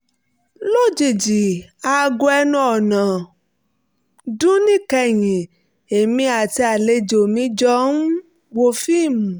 lójijì aago ẹnu ọ̀nà dún níkẹyìn èmi àti àlejò mi jọ um wo fíìmù